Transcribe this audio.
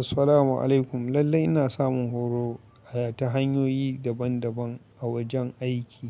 Assalamu alaikum. Lallai ina samun horo ta hanyoyi daban daban a wajen aiki.